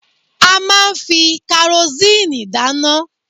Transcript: A máa fi karosíìnì dáná.